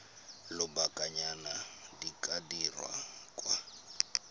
lobakanyana di ka dirwa kwa